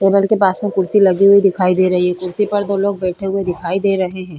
Table के पास में कुर्सी लगी हुई दिखाई दे रही है। कुर्सी पर दो लोग बैठे हुए दिखाई दे रहे हैं।